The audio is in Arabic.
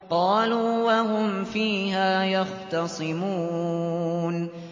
قَالُوا وَهُمْ فِيهَا يَخْتَصِمُونَ